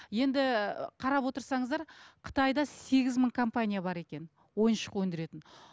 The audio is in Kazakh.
енді қарап отырсаңыздар қытайда сегіз мың компания бар екен ойыншық өндіретін